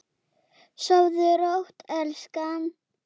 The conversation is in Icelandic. Sofðu rótt elskan.